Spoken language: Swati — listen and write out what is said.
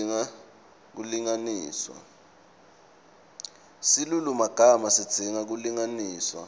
silulumagama sidzinga kulungiswa